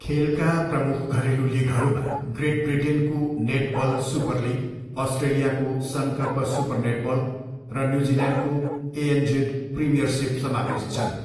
खेलका प्रमुख घरेलु लिगहरूमा ग्रेट ब्रिटेनको नेटबल सुपरलिग, अस्ट्रेलियाको सनकर्प सुपर नेटबल र न्युजिल्यान्डको एएनजेड प्रिमियरसिप समावेश छन्।